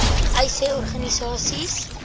uys sê organisasies